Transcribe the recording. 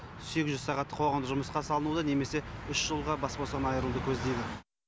сегіз жүз сағаттық қоғамдық жұмысқа салынуды немесе үш жылға бас бостығынан айыруды көздейді